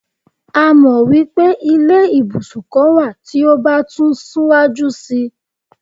a mọ wipe ilé ibusun kan wa ti o ba tun siwaju sí